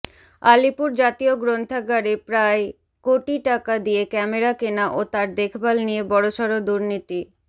আলিপুর জাতীয় গ্রন্থাগারে প্রায় কোটি টাকা দিয়ে ক্যামেরা কেনা ও তার দেখভাল নিয়ে বড়সড় দুর্নীতি